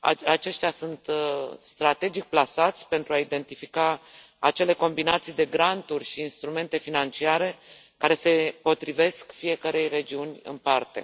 Aceștia sunt strategic plasați pentru a identifica acele combinații de granturi și instrumente financiare care se potrivesc fiecărei regiuni în parte.